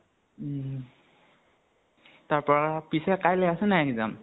উম তাৰপা পিছে কাইলে আছে নে নাই exam?